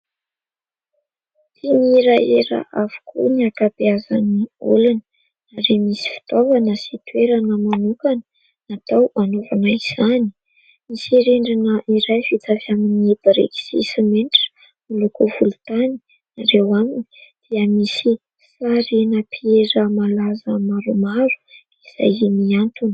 ty nirahera avokoa ny ankabyazany olana nare misy fitaovana sy toerana manokana natao anaovanay izany nisyrendrina iray fitavy amin'ny biriky sy mentra molokofolo tany nareo aminy dia misy sarinapiera malaza maromaro izay miantona